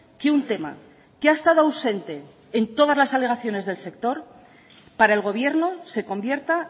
que un tema que ha estado ausente en todas las alegaciones del sector para el gobierno se convierta